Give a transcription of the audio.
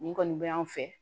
Nin kɔni bɛ yan fɛ